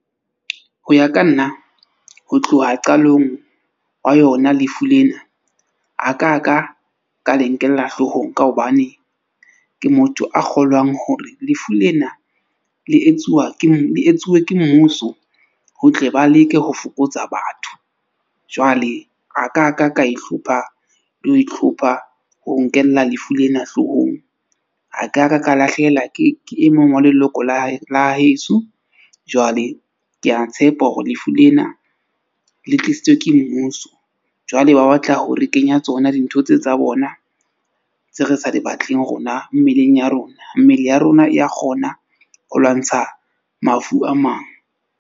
Ho ya ka nna ho tloha qalong wa yona, lefu lena a ka ka ka le nkella hloohong ka hobane, ke motho a kgolwang hore lefu lena le etsuwa ke le etsuwe ke mmuso, ho tle ba leke ho fokotsa batho. Jwale a ka ka ka ihlopha le ho ihlopha ho nkella lefu lena hloohong. A ka ka ka lahlehelwa ke e mong wa leloko la hae la heso. Jwale ke a tshepa hore lefu lena le tlisitswe ke mmuso. Jwale ba batla ho re kenya tsona dintho tse tsa bona tse re sa di batleng rona mmeleng ya rona. Mmele ya rona ya kgona ho lwantsha mafu a mang.